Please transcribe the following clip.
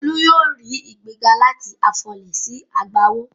Olú yóò rí ìgbéga láti afọlẹ̀ sí agbawó.